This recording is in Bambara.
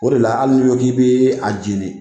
O de la hali n'i ko k'i bɛ a jeni